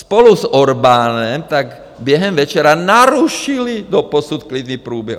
Spolu s Orbánem tak během večera narušili doposud klidný průběh.